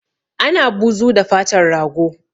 Ana buzu da fatar rago